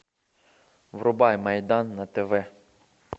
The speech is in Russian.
врубай майдан на тв